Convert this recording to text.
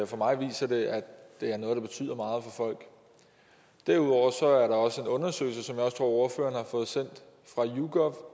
for mig viser det at det er noget der betyder meget for folk derudover er der også en undersøgelse som at ordføreren har fået sendt fra yougov